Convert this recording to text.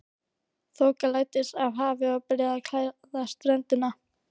Þoka læddist af hafi og byrjaði að klæða ströndina.